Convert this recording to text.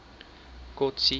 kotsi